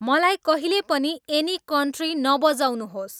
मलाई कहिले पनि एनी कन्ट्री नबजाउनुहोस्